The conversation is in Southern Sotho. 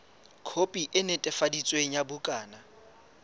khopi e netefaditsweng ya bukana